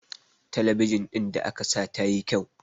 talabijin ɗin da aka sa ta yi kyau